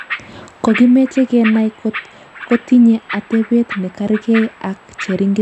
Kokimeche kenai kotkotinye atebet ne kargei ak cheringisyet noto leel